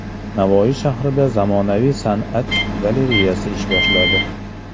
Navoiy shahrida zamonaviy San’at galereyasi ish boshladi.